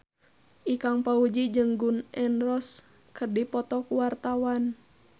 Ikang Fawzi jeung Gun N Roses keur dipoto ku wartawan